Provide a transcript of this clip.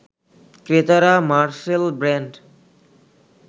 ক্রেতারা Marcel brand